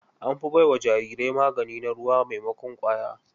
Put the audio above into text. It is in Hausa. An fi bai wa jarirai magani na ruwa maimakon ƙwaya.